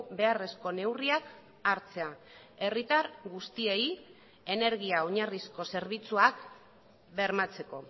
beharrezko neurriak hartzea herritar guztiei energia oinarrizko zerbitzuak bermatzeko